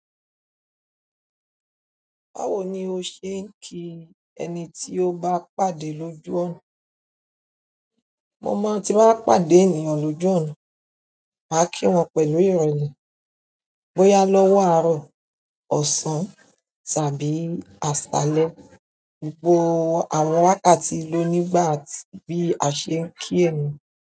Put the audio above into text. Báwo ni o ṣe ń kí ẹni tí o bá pàdé lójú ọ̀nà? Mo máa ti n ba pàdé ènìyàn lójú ọ̀nà, màá kí wọn pẹ̀lú ìrelẹ́, bóyá lọ́wọ́ àárọ̀, ọ̀sán, tàbí àṣálẹ́. Gbo àwọn wákàtí ló nígbà atí bí a ṣe ń kí ẹniyan.